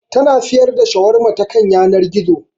Ta na siyar da Shawarma ta kan yanar gizo